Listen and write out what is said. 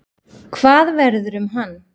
Hvað verður um hann?